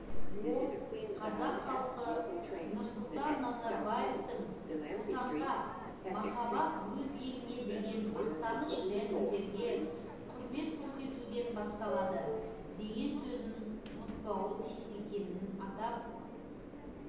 ол қазақ халқы нұрсұлтан назарбаевтың отанға махаббат өз еліне деген мақтаныш рәміздерге құрмет көрсетуден басталады деген сөзін ұмытпауы тиіс екенін атап